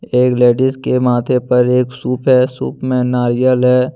एक लेडिस के माथे पर एक सूप है सूप में नारियल है।